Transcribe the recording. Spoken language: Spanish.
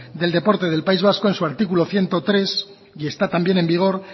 del deporte del país vasco en su artículo ciento tres y está también en vigor